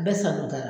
Bɛɛ sa don da